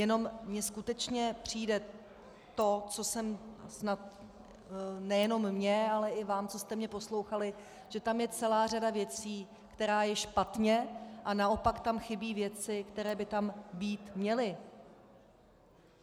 Jenom mi skutečně přijde to, co jsem snad - nejenom mě, ale i vám, co jste mě poslouchali, že tam je celá řada věcí, která je špatně, a naopak tam chybí věci, které by tam být měly.